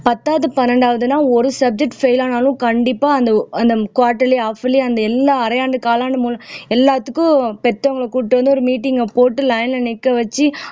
பத்தாவது பன்னிரண்டாவதுன்னா ஒரு subject fail ஆனாலும் கண்டிப்பா அந்த அந்த quarterly half yearly and எல்லா அரையாண்டு காலாண்டு எல்லாத்துக்கும் பெத்தவங்கள கூட்டிட்டு வந்து ஒரு meeting அ போட்டு line ல நிக்க வச்சு